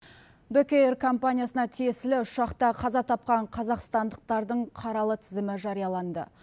бек эйр компаниясына тиесілі ұшақта қаза тапқан қазақстандықтардың қаралы тізімі жарияланды